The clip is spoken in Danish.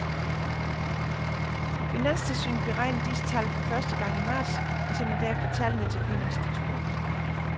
Finanstilsynet beregner disse tal for første gang i marts og sender derefter tallene til pengeinstitutterne.